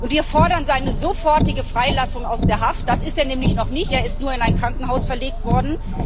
Wir fordern seine sofortige Freilassung aus der Haft freigelassen ist er nämlich noch nicht, er ist nur in ein Krankenhaus verlegt worden.